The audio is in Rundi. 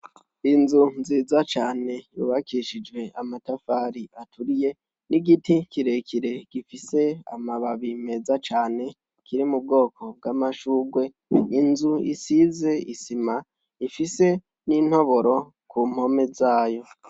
Inzu nziza cane yubakishijwe amatafari aturiye n'igiti kirekire gifise amababi meza cane kiri m'ubwoko bw'amashugwe; inzu isize isima ifise n'intoboro kumpome zayo.